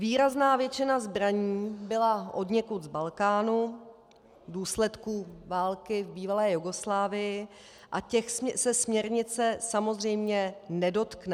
Výrazná většina zbraní byla odněkud z Balkánu v důsledku války v bývalé Jugoslávii, a těch se směrnice samozřejmě nedotkne.